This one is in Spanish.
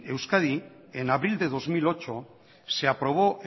en euskadi enabril de dos mil ocho se aprobó